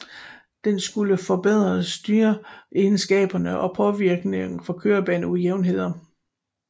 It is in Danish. Den skulle forbedre styreegenskaberne og påvirkninger fra kørebaneujævnheder